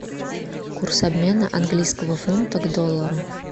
курс обмена английского фунта к доллару